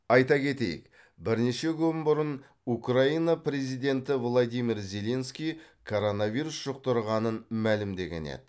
айта кетейік бірнеше күн бұрын украина президенті владимир зеленский коронавирус жұқтырғанын мәлімдеген еді